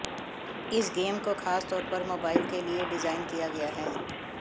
इस गेम को खासतौर पर मोबाइल के लिए डिजाइन किया गया है